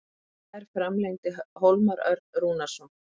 Í gær framlengdi Hólmar Örn Rúnarsson.